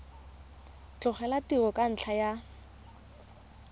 tlogela tiro ka ntlha ya